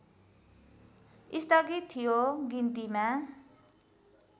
स्थगित थियो गिन्तीमा